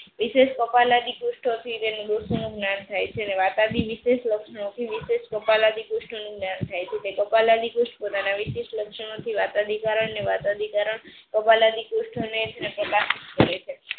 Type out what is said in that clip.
વીસેશ કપાલગી દુસ્થ જ્ઞાન થઈ છે. વટડી વીસેસ લક્ષણો થી વીસેશ ગોપાલ અઢી પુસ્થ જ્ઞાન થઈ છે. કપલ અઢી પુસ્થ વીસીસ્થ લક્ષણો થી વતાડી કારણ ને વતાડી કારણ ગોપાલ અઢી પુસ્થ કરે છે.